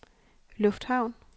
lufthavn